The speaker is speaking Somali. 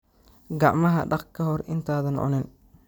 Gacmaha dhaq ka hor intaadan cunin.